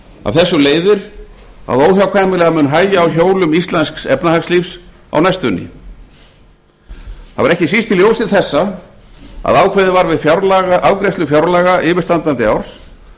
af þessu leiðir að óhjákvæmilega mun hægja á hjólum íslensks efnahagslífs á næstunni það var ekki síst í ljósi þessa að ákveðið var við afgreiðslu fjárlaga yfirstandandi árs